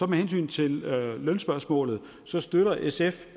med hensyn til lønspørgsmålet støtter sf